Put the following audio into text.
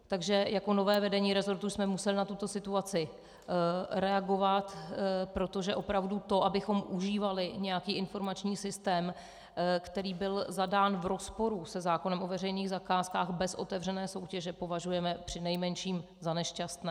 Takže jako nové vedení resortu jsme museli na tuto situaci reagovat, protože opravdu to, abychom užívali nějaký informační systém, který byl zadán v rozporu se zákonem o veřejných zakázkách bez otevřené soutěže, považujeme přinejmenším za nešťastné.